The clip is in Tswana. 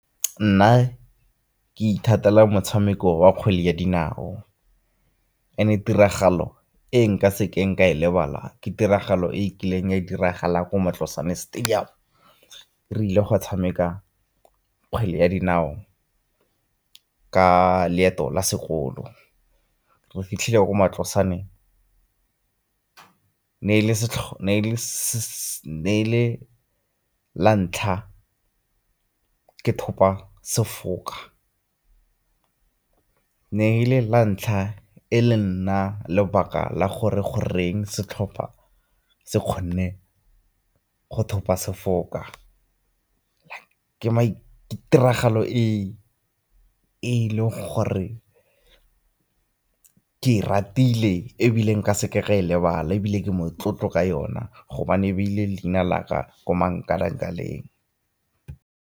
Nna ke ithatela motshameko wa kgwele ya dinao, and-e tiragalo e nka sekeng ka e lebala ke tiragalo e kileng ya diragala ko Matlosane stadium re ile go tshameka kgwele ya dinao ka leeto la sekolo. Re fitlhile ko Matlosane, ne e le la ntlha ke thopa sefoka, na e le la ntlha e le nna lebaka la gore goreng setlhopha se kgonne go thopa sefoka. Ke tiragalo e e leng gore ke e ratile ebile nka sekeng ka e lebala, ebile ke motlotlo ka yona gobane e beile leina la ka mo mankalakaleng.